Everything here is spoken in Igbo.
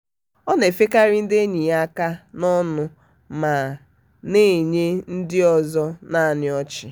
ọ na-efekarị ndị enyi ya aka n'ọṅụ ma na-enye ndị ọzọ nannị ọchị.